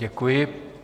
Děkuji.